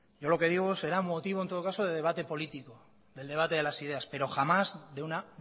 yo lo que digo será motivo en todo caso de debate político del debate de las ideas pero jamás de una